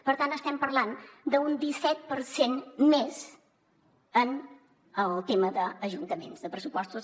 per tant estem parlant d’un disset per cent més en el tema d’ajuntaments de pressupostos